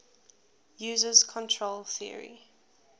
uses control theory